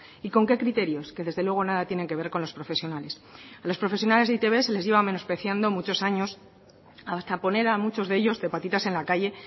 y con qué criterios que desde luego nada tienen que ver con los profesionales a los profesionales de e i te be se les lleva menospreciando muchos años hasta poner a muchos de ellos de patitas en la calle